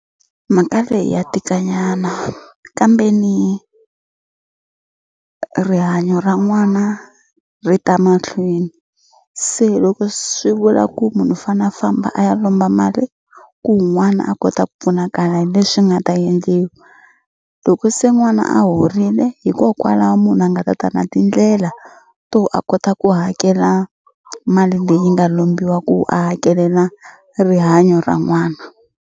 Mhaka leyi ya tikanyana kambeni rihanyo ra n'wana ri ta mahlweni se loko swi vula ku munhu u fane a famba a ya lomba mali ku n'wana a kota ku pfunakala hi leswi nga ta endliwa loko se n'wana a horile hikokwalaho munhu a nga tata na tindlela to a kota ku hakela mali leyi nga lombiwa ku a hakelela rihanyo ra n'wana.